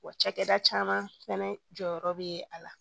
Wa cakɛda caman fɛnɛ jɔyɔrɔ be a la